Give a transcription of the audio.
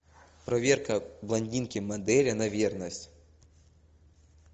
проверка блондинки модели на верность